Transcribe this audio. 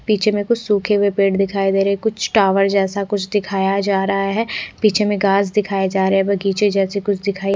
पीछे में कुछ सूखे हुए पेड़ दिखाई दे रहे है कुछ टॉवर जैसा कुछ दिखाया जा रहा है पीछे में घास दिखाया जा रहा है बगीचे जैसा कुछ दिखाई --